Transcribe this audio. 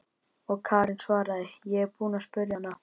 Og Karen svaraði: Ég er búin að spyrja hana.